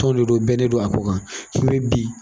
Tɔn de do bɛnnen do a ko kan bi.